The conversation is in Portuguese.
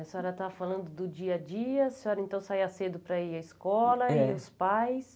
A senhora estava falando do dia a dia, a senhora então saía cedo para ir à escola e os pais...